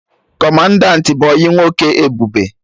Kọmandanti bụ ọyị nwoke Ebube